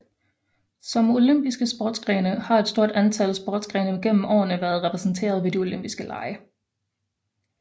Som olympiske sportsgrene har et stort antal sportsgrene gennem årene været repræsenteret ved de olympiske lege